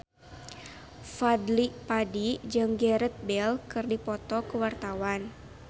Fadly Padi jeung Gareth Bale keur dipoto ku wartawan